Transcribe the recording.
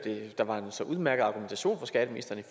der var en så udmærket argumentation fra skatteministeren i